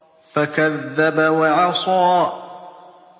فَكَذَّبَ وَعَصَىٰ